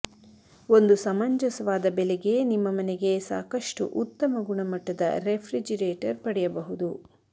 ಒಂದು ಸಮಂಜಸವಾದ ಬೆಲೆಗೆ ನಿಮ್ಮ ಮನೆಗೆ ಸಾಕಷ್ಟು ಉತ್ತಮ ಗುಣಮಟ್ಟದ ರೆಫ್ರಿಜಿರೇಟರ್ ಪಡೆಯಬಹುದು